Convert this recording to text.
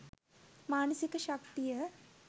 මානසික ශක්තිය